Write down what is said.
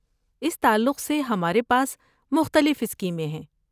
اس تعلق سے ہمارے پاس مختلف اسکیمیں ہیں۔